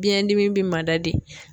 Biɲɛndimi bi mada de.